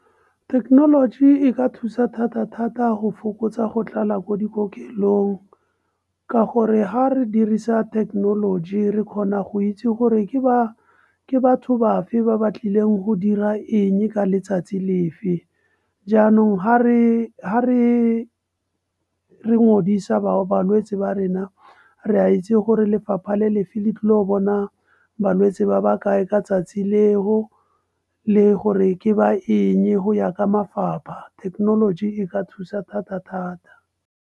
Thekenoloji e ka thusa thata-thata go fokotsa go tlala ko dikokelong, ka gore ga re dirisa thekenoloji re kgona go itse gore ke batho bafe ba ba tlileng go dira eng ka letsatsi lefe. Jaanong ga re bao balwetse ba rena re a itse gore lefapha le lefelo leo bona balwetse ba ba kae ka 'tsatsi leo, le gore ke ba eng go ya ka mafapha, thekenoloji e ka thusa thata-thata.